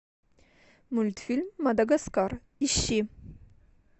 мультфильм мадагаскар ищи